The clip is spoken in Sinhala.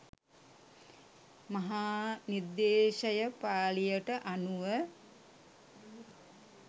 මහානිද්දේශස පාලියට අනුව